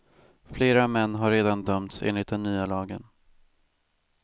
Flera män har redan dömts enligt den nya lagen.